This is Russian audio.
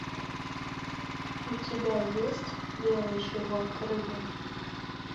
у тебя есть белый живот рыбы